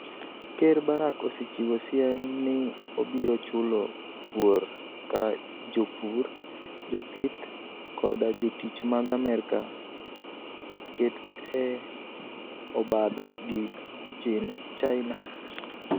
Ker Barak osechiwo siem nii obiro chulo kuor ka jopur, jopith, koda jotich mag Amerka oket e obadho gi Chinia.